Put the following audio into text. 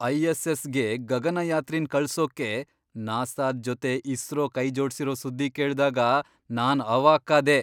ಐ.ಎಸ್.ಎಸ್.ಗೆ ಗಗನಯಾತ್ರಿನ್ ಕಳ್ಸೋಕೆ ನಾಸಾದ್ ಜೊತೆ ಇಸ್ರೋ ಕೈ ಜೋಡ್ಸಿರೋ ಸುದ್ದಿ ಕೇಳ್ದಾಗ ನಾನ್ ಅವಾಕ್ಕಾದೆ.